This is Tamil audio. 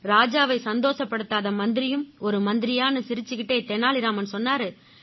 ராஜாவை சந்தோஷப்படுத்தாத மந்திரியும் ஒரு மந்திரியான்னு சிரிச்சுக்கிட்டே தெனாலி ராமன் சொன்னாரு